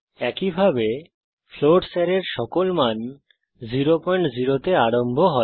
একইভাবে ফ্লোটস অ্যারের সকল মান 00 তে আরম্ভ হবে